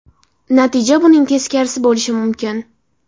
Natija buning teskarisi bo‘lishi mumkin.